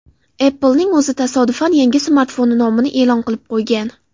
Apple’ning o‘zi tasodifan yangi smartfoni nomini e’lon qilib qo‘ygan.